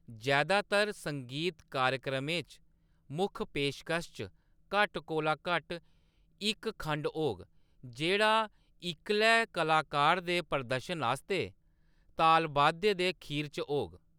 जैदातर संगीत कार्यक्रमें च, मुक्ख पेशकश च घट्ट कोला घट्ट इक खंड होग, जेह्‌‌ड़ा इक्कले कलाकार दे प्रदर्शन आस्तै तालवाद्य दे खीर च होग।